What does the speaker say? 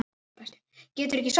Geturðu ekki sofnað?